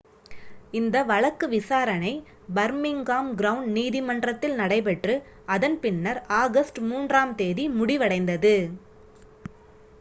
இந்த வழக்கு விசாரணை பர்மிங்காம் கிரவுன் நீதிமன்றத்தில் நடைபெற்று அதன் பின்னர் ஆகஸ்ட் 3 ஆம் தேதி முடிவடைந்தது